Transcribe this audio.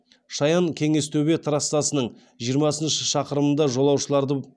шаян кеңестөбе трассасының жиырмасыншы шақырымында жолаушыларды